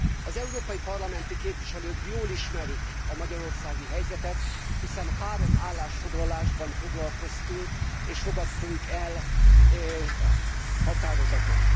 Az európai parlamenti képviselők jól ismerik a magyarországi helyzetet, hiszen három állásfoglalásban foglalkoztunk és fogadtunk el határozatot.